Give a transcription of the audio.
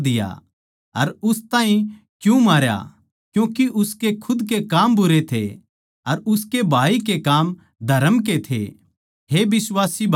जो कोए अपणे बिश्वासी भाई तै बैर राक्खै सै वो हत्यारा सै अर थम जाणो सों के हत्यारे म्ह अनन्त जीवन न्ही रहन्दा